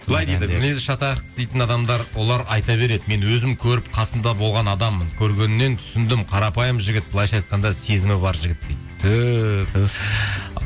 былай дейді мінезі шатақ дейтін адамдар олар айта береді мен өзім көріп қасында болған адаммын көргеннен түсіндім қарапайым жігіт былайынша айтқанда сезімі бар жігіт дейді түһ түһ